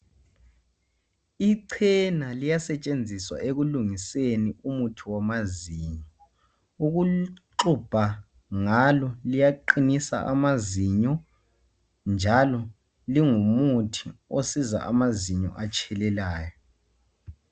ichena liyasetshenziswa ekulungiseni umuthi wamazinyo ukuxubha ngalo liyaqinisa amazinyo njalo lingumuthi osiza amazinyo atshelelayo